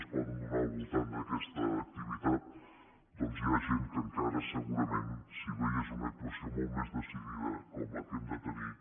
es poden donar el voltant d’aquesta activitat doncs hi ha gent que encara segurament si veiés una actuació molt més decidida com la que hem de tenir